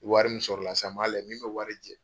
Wari min sɔrɔ la sisan m' a lajɛ min bɛ wari jɛn.